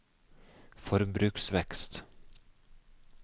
forbruksvekst